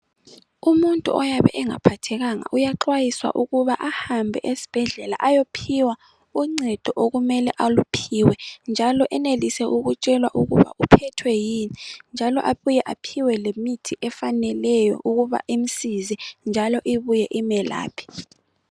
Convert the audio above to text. Umuntu oyabe engaphathekanga uyaxwayiswa ukuba ahambe esibhedlela ayophiwa uncedo okumele aluphiwe njalo enelise ukutshelwa ukuba uphethwe yini njalo abuye aphiwe lemithi efaneleyo ukuba imsize njalo ibuye imelaphe.